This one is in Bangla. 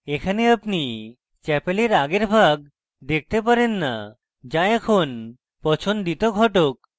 এখানে আপনি chapel আগের ভাগ দেখতে পারেন যা এখন পছন্দিত ঘটক